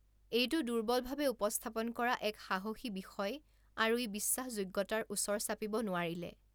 এইটো দুৰ্বলভাৱে উপস্থাপন কৰা এক সাহসী বিষয় আৰু ই বিশ্বাসযোগ্যতাৰ ওচৰ চাপিব নোৱাৰিলে।